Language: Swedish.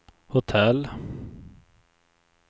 hotell